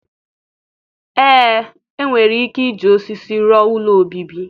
Ee enwere ike iji osisi rụọ ụlọ obibi